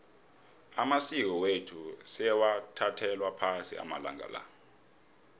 amasiko wethu sewathathelwa phasi amalanga la